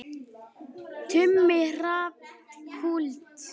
Tumi Hrafn Kúld.